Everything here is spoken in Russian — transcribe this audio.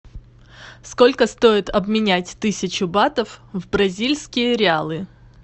сколько стоит обменять тысячу батов в бразильские реалы